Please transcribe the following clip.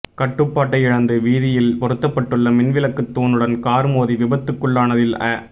கட்டுப்பாட்டை இழந்து வீதியில் பொருத்தப்பட்டுள்ள மின்விளக்கு தூணுடன் கார் மோதி விபத்துக்குள்ளானதில் அ